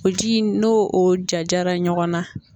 O ji in n'o o jajara ɲɔgɔn na.